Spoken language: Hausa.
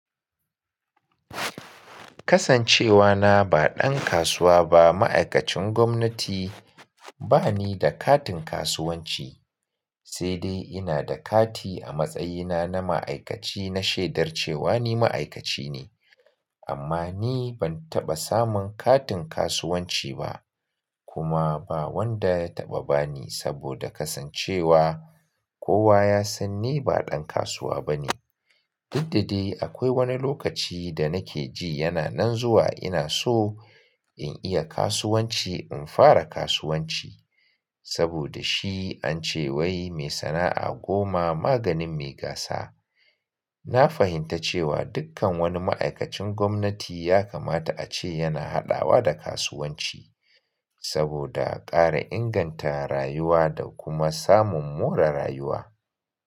Kasancewa na ba ɗan kasuwa ba, ma'aikacin gwamnati, ba ni da katin kasuwanci. Sai dai ina da kati a matsayina na ma'aikaci na shaidar cewa ni ma'aikaci ne. Amma ni ban taɓa samun katin kasuwanci ba kuma ba wanda ya taɓa ba ni saboda kasancewa kowa ya san ni ba ɗan kasuwa bane. Diddadai akwai wani lokaci da nake ji yana nan zuwa ina so in iya kasuwanci, in fara kasuwanci saboda shi an ce wai mai sana'a goma maganin mai gasa. Na fahimta cewa dukkan wani ma'aikacin gwamnati ya kamata a ce yana haɗawa da kasuwanci saboda ƙara inganta rayuwa da kuma samun more rayuwa.